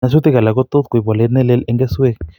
Nyasutik alak ko tot koib walet ne leel en keswek